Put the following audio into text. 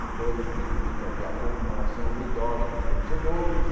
Depois, evidentemente, havia a comemoração ruidosa dos vencedores.